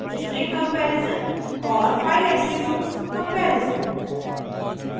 * string comparison string comparison और file attributes comparison file attributes comparison